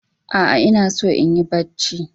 A'a, ina so in yi barci